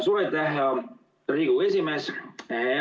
Suur aitäh, hea Riigikogu esimees!